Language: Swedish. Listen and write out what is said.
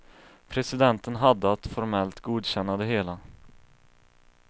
Presidenten hade att formellt godkänna det hela.